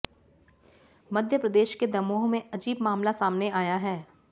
मध्य प्रदेश के दमोह में अजीब मामला सामने आया है